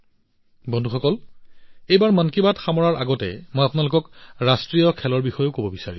বন্ধুসকল এইবাৰ মন কী বাতত বিদায় লোৱাৰ পূৰ্বে মই আপোনালোকক ৰাষ্ট্ৰীয় খেলৰ বিষয়েও কব বিচাৰিছো